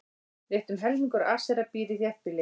Rétt um helmingur Asera býr í þéttbýli.